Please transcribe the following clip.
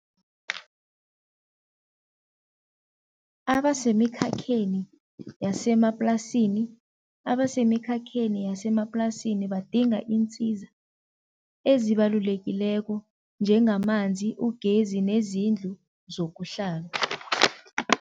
Abasemikhakheni yasemaplasini, abasemikhakheni yasemaplasini badinga iinsiza ezibalulekileko njengamanzi, ugezi nezindlu zokuhlala.